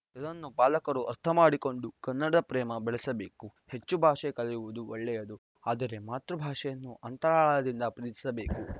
ಇದನ್ನು ಪಾಲಕರು ಅರ್ಥ ಮಾಡಿಕೊಂಡು ಕನ್ನಡ ಪ್ರೇಮ ಬೆಳಸಬೇಕು ಹೆಚ್ಚು ಭಾಷೆ ಕಲಿಯುವುದು ಒಳ್ಳೆಯದು ಆದರೆ ಮಾತೃ ಭಾಷೆಯನ್ನು ಅಂತರಾಳದಿಂದ ಪ್ರೀತಿಸಬೇಕು